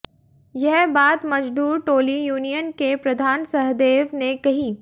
यह बात मजदूर टोली यूनियन के प्रधान सहदेव ने कही